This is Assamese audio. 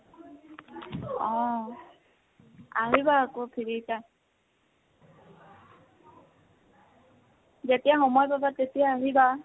অহ। আহিবা আকৌ free time, যেতিয়া সময় পাবা তেতিয়া আহিবা।